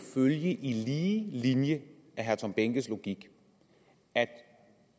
følge i lige linje af herre tom behnkes logik at